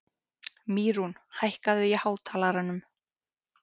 Mýrún, hækkaðu í hátalaranum.